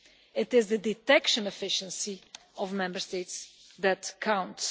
It is the detection efficiency of Member States that counts.